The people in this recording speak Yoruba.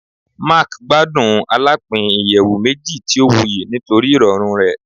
Mark gbadun alapin iyẹwu meji ti o wuyi nitori irọrun rẹ